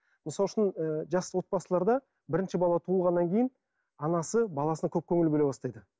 мысал үшін ы жақсы отбасыларда бірінші бала туылғаннан кейін анасы баласына көп көңіл бөле бастайды